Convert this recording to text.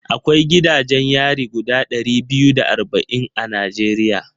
Akwai gidajen yari guda ɗari biyu da arba'in a Najeriya